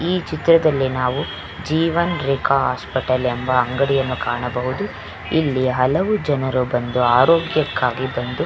ಈ ಚಿತ್ರದಲ್ಲಿ ನಾವು ಜೀವನ್ ರೇಖಾ ಹಾಸ್ಪಿಟಲ್ ಎಂಬ ಅಂಗಡಿಯನ್ನು ಕಾಣಬಹುದು. ಇಲ್ಲಿ ಹಲವು ಜನರು ಬಂದು ಆರೋಗ್ಯಕ್ಕಾಗಿ ಬಂದು --